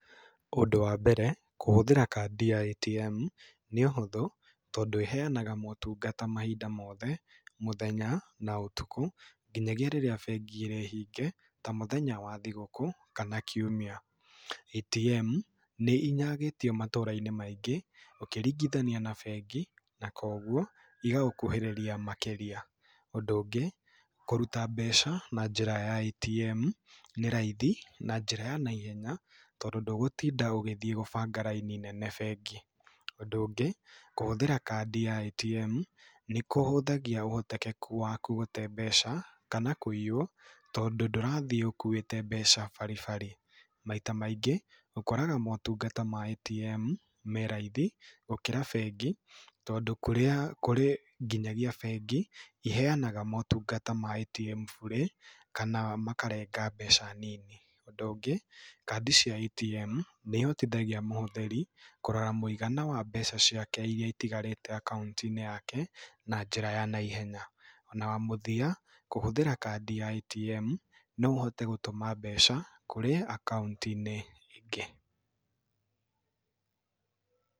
Ũndũ wa mbere, kũhũthĩra kandi ya ATM nĩ ũhũthũ tondũ ĩheanaga motunga mahinda mothe, mũthenya, na ũtukũ, nginyagia rĩrĩa mbengi ĩrĩ hinge ta mũthenya wa thigũkũ kana kiumia. ATM nĩ inyagĩtio matũũra-inĩ maingĩ ũkĩringithania na mbengi na kũguo igagũkuhĩrĩria makĩria. Ũndũ ũngĩ kũruta mbeca na njĩra ya ATM nĩ raithi na njĩra ya naihenya tondũ ndũgũtinda ũgĩthiĩ gũbanga raini nene mbengi. Ũndũ ũngĩ, kũhũthĩra kandi ya ATM nĩ kũhũthagia ũhotekeku waku gũte mbeca kana kũiywo tondũ ndũrathiĩ ũkuĩte mbeca bari bari. Maita maingĩ ũkoraga motungata ma ATM me raithi gũkĩra mbengi, tondũ kũrĩ nginyagia mbengi maheanaga motungata ma ATM bure, kana makarenga mbeca nini. Ũndũ ũngĩ, kandi cia ATM nĩ ihotithagia mũhũthĩri kũrora mũigana wa mbeca ciake iria itigarĩte akaunti-inĩ yake na njĩra ya naihenya. Na wa mũthia, kũhũthĩra kandi ya ATM no ũhote gũtũma mbeca kũrĩ akaunti-inĩ ingĩ.